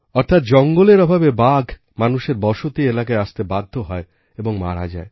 অর্থাৎ জঙ্গলের অভাবে বাঘ মানুষের বসতি এলাকায় আসতে বাধ্য হয় এবং মারা যায়